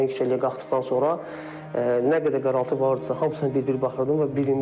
yəni yüksəkliyə qalxdıqdan sonra nə qədər qaraltı vardısa, hamısına bir-bir baxırdım və birində mən ilişdim.